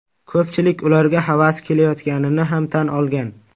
Ko‘pchilik ularga havasi kelayotganini ham tan olgan.